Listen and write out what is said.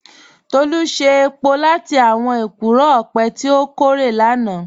Tolu ṣe èpò látì àwọn èkúró ọpẹ̀ tí o kòrè lánà